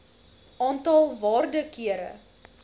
aantal waarde kere